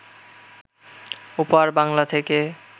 ওপার বাংলা থেকে